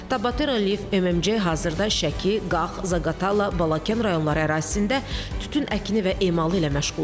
Tabatera Live MMC hazırda Şəki, Qax, Zaqatala, Balakən rayonları ərazisində tütün əkini və emalı ilə məşğul olur.